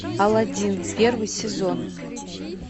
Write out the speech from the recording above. алладин первый сезон